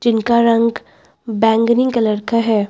इनका रंग बैंगनी कलर का है।